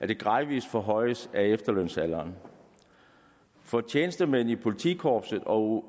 den gradvise forhøjelse af efterlønsalderen for tjenestemænd i politikorpset og